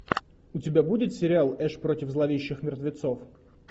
у тебя будет сериал эш против зловещих мертвецов